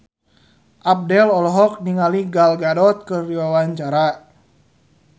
Abdel olohok ningali Gal Gadot keur diwawancara